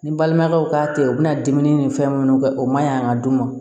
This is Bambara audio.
Ni balimaw k'a tɛ ye u bɛna dumuni ni fɛn minnu kɛ o man ɲi an ka du ma